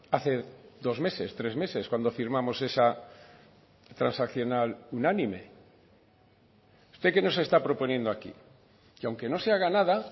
hace dos meses tres meses cuando firmamos esa transaccional unánime usted qué nos está proponiendo aquí que aunque no se haga nada